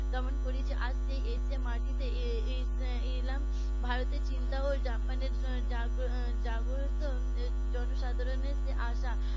দমন করেছে আজ সেই এশিয়ার মাটিতে এলাম ভারতের চিন্তাজাগ্রত জনসাধারণের যে আশা